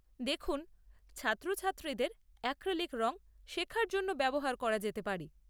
দেখুন, ছাত্রছাত্রীদের অ্যাক্রিলিক রঙ, শেখার জন্য ব্যবহার করা যেতে পারে।